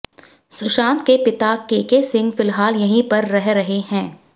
सुशांत के पिता केके सिंह फिलहाल यहीं पर रह रहे हैं